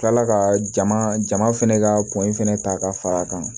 Kila ka jama jama fɛnɛ ka poyi fɛnɛ ta ka far'a kan